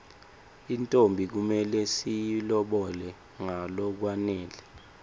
intfombi kumele siyilobole ngalokwanele